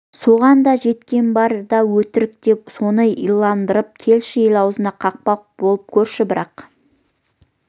соған да жеткен бар да өтірік деп соны иландырып келші ел аузына қақпақ болып көрші бірақ